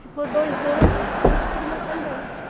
Ficou dois anos, aí sumiu outra vez.